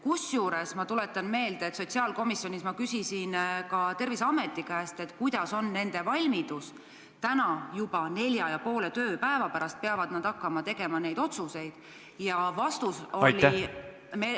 Kusjuures ma tuletan meelde, et ma sotsiaalkomisjoni istungil küsisin ka Terviseameti käest, kuidas nad selleks valmis on – juba nelja ja poole tööpäeva pärast peavad nad hakkama neid otsuseid tegema.